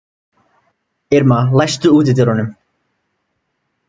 Irma, læstu útidyrunum.